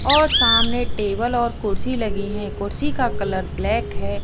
और सामने टेबल और कुर्सी लगी हैं कुर्सी का कलर ब्लैक है।